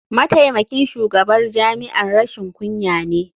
Mataimakin shugaban jami'ar rashin kunya ne.